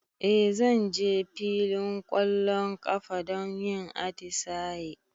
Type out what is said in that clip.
E, zan je filin ƙwallon ƙafa don yin atisaye.